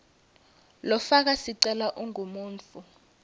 lofaka sicelo ungumuntfu